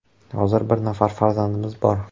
Hozir bir nafar farzandimiz bor.